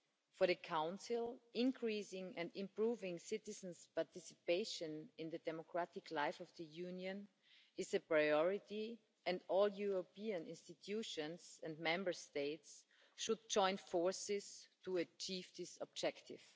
For the Council, increasing and improving citizens' participation in the democratic life of the Union is a priority and all European institutions and Member States should join forces to achieve this objective.